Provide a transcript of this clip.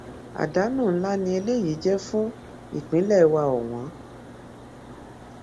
àdánù ńlá ni eléyìí jẹ fún ìpínlẹ wa ọwọn